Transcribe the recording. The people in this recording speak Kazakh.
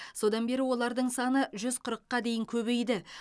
содан бері олардың саны жү қырыққа дейін көбейді